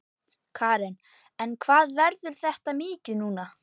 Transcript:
Karen: En hvað verður þetta mikið núna?